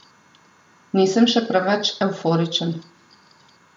Nisem še preveč evforičen.